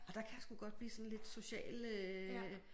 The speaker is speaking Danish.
Og der kan jeg sgu godt blive sådan lidt social øh